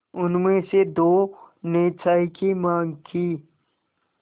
उनमें से दो ने चाय की माँग की